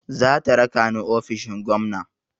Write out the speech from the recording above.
Zata raka ni ofishin gwamna.